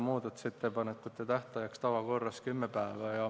Muudatusettepanekute tähtajaks määrati nagu tavakorras kümme päeva.